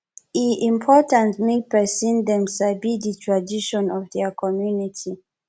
e important mek pikin dem sabi de tradition of dia community